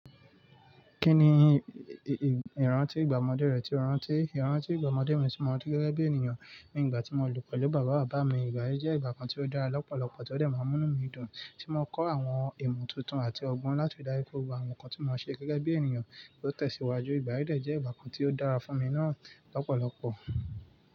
Kí ni ìrántí ìgbà ọmọdé rẹ tí o rántí? Ìrántí ìgbà ọmọdé mi tí mo mọ gẹ́gẹ́ bí ènìyàn ni ìgbà tí mo lò pẹ̀lú bàbá bàbá mi. Ìgbà yí jẹ́ ìgbà kan tí ó dára lọ́pọ̀lọpọ̀ tí ó dẹ̀ máa ń mú mí dùn tí mo kọ́ àwọn ìmọ̀ tuntun àti ọgbọ́n láti ìdárí kó wa àwọn nǹkan tí mo máa ṣe gẹ́gẹ́ bí ènìyàn ló tẹ̀síwájú. Ìgbà yí dẹ̀ jẹ́ ìgbà kan tí ó dára fún mi náà lọ́pọ̀lọpọ̀.